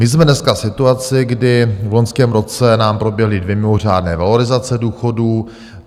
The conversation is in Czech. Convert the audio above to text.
My jsme dneska v situaci, kdy v loňském roce nám proběhly dvě mimořádné valorizace důchodů.